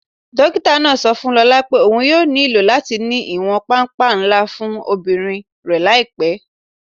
Dókítà náà sọ fún Lólá pé óun yóò ní ilò latí ní iwọn pàmpà nlà fún ọmọbírín rẹ laípẹ́.